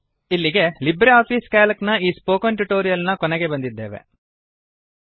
ಇಲ್ಲಿಗೆ LibreOffice Calc ನ ಈ ಸ್ಪೋಕನ್ ಟ್ಯುಟೋರಿಯಲ್ ನ ಕೊನೆಗೆ ಬಂದಿದ್ದೇವೆ